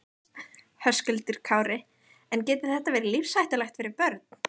Höskuldur Kári: En getur þetta verið lífshættulegt fyrir börn?